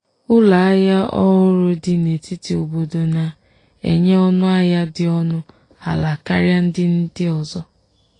ụlọahia ọhụrụ dị n'etiti n’obodo na-enye ọnụahịa dị ọnụ ala karịa ndị ndị ọzọ.